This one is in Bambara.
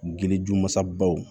Gili jumasabaw